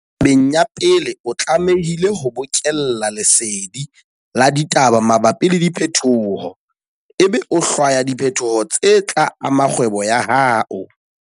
Tabeng ya pele, o tlamehile ho bokella lesedi la ditaba mabapi le diphetoho, ebe o hlwaya diphetoho tse tla ama kgwebo ya hao.